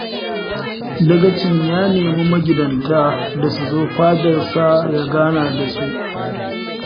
Dagacin ya nemi magidanta da su zo fadarsa ya gana da su